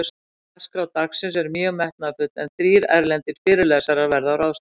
Dagskrá dagsins er mjög metnaðarfull, en þrír erlendir fyrirlesarar verða á ráðstefnunni.